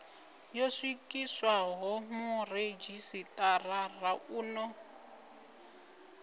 yo swikiswaho muredzhisitarara u ḓo